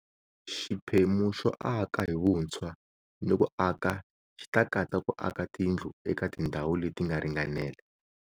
Xiphemu xo aka hi vutshwa ni ku aka xi ta katsa ku aka tindlu eka tindhawu leti nga ringanela.